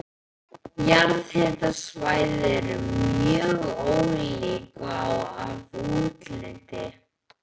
Jarðhitasvæði eru mjög ólík að útliti.